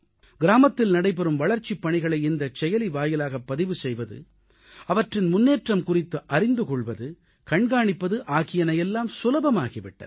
கிராமத்தில் நடைபெறும் வளர்ச்சிப் பணிகளை இந்தச் செயலி வாயிலாகப் பதிவு செய்வது அவற்றின் முன்னேற்றம் குறித்து அறிந்து கொள்வது கண்காணிப்பது ஆகியன எல்லாம் சுலபமாகி விட்டன